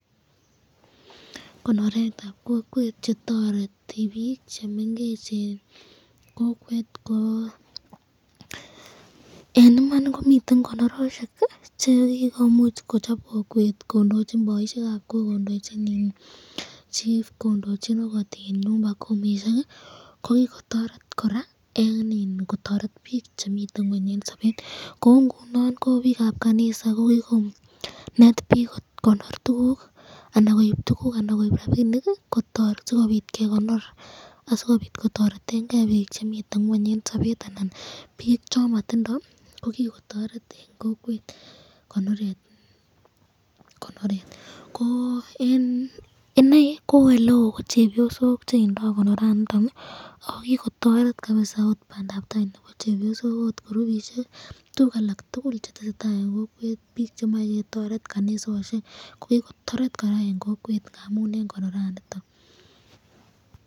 Konoretab kokwet chetoreti bik chemengechen kokwet ko en iman komiten konoroswek chekikomuch kochop kokwet kondochi boisiekab kok kondoichin chief, kondochin okot nyumbakumisiek ii kokikotoret koraa en ii bik chemiten ngweny en sobet, koungunon ko bikab kanisa kokikonet bik kokonor tuguk anan koib tuguk anan rabinik kotoi sikobitgekonor asikobit kotoretengee bik chemiten ngweny en sobet anan bik chomotindo kokikotoret en kokwet konoret, ko en inei ko oleo ko chebiosok chebo konoraniton oo kikotoret kabisa bandab tai chebo chebiosok ot kurubisiek tuguk alak tugul chetesetaa en kokwet chemoe ketoret kanisosiek kokikotoret koraa en kokwet ngamun en konoraniton.